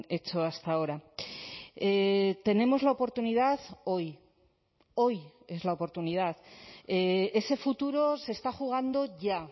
hecho hasta ahora tenemos la oportunidad hoy hoy es la oportunidad ese futuro se está jugando ya